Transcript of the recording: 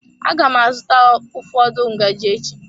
Aga m azụta ụfọdụ ngaji echi.